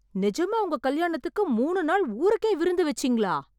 நிஜமா உங்க கல்யாணத்துக்கு மூணு நாள் ஊருக்கே விருந்து வச்சீங்களா?